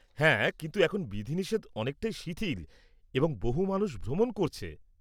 -হ্যাঁ, কিন্তু এখন বিধিনিষেধ অনেকটাই শিথিল এবং বহু মানুষ ভ্রমণ করছে।